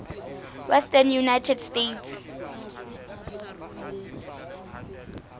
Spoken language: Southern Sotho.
western united states